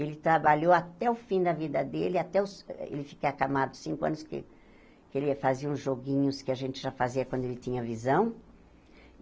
Ele trabalhou até o fim da vida dele, até os ele ficar acamado cinco anos, que que ele ia fazer uns joguinhos que a gente já fazia quando ele tinha visão.